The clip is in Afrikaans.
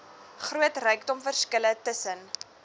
groot rykdomverskille tussen